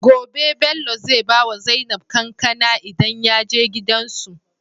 Gobe Bello zai bawa zainab kankAna idan yaje gidan su